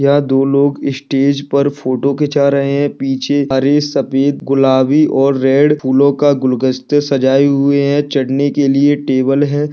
यहां दो लोग स्टेज पर फोटो खीचा रहे है पीछे हरे सफेद गुलाबी और रेड फूलो का गुलदस्ते सजाए हुए है चढ़ने के लिए टेबल है।